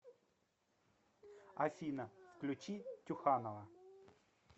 афина включи тюханова